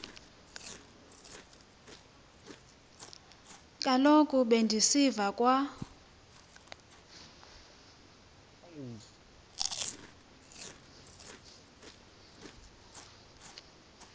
kaloku bendisiva kwa